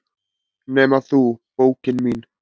"""Nema þú, bókin mín."""